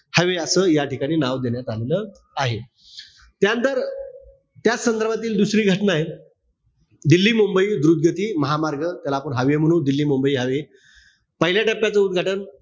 हवे असं या ठिकाणी नाव देण्यात आलेल आहे. त्यानंतर त्याच संदर्भातील दुसरी घटना ए. दिल्ली-मुंबई द्रुतगती महामार्ग, त्याला आपण हावे म्हणू. दिल्ली-मुंबई हावे. पहिल्या टप्प्यात उदघाटन,